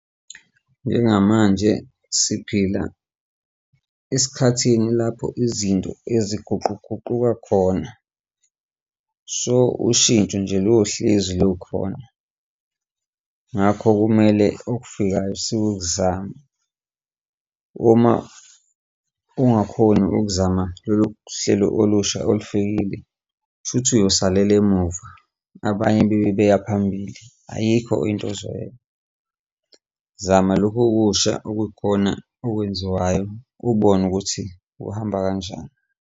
Njengamanje siphila esikhathini lapho izinto eziguquguquka khona, so ushintsho nje lohlezi lukhona. Ngakho kumele okufikayo sikuzame uma ungakhoni ukuzama lolu hlelo olusha olufikile, kusho ukuthi uyosalela emuva, abanye bebe beya phambili, ayikho into ozoyenza. Zama lokhu okusha okuyikhona okwenziwayo ubone ukuthi kuhamba kanjani.